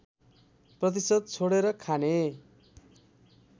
प्रतिशत छोडेर खाने